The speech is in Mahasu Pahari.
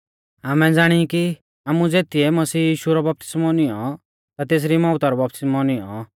आमै ज़ाणी की आमु ज़ेतिऐ मसीह यीशु रौ बपतिस्मौ नियौं ता तेसरी मौउता रौ बपतिस्मौ नियौं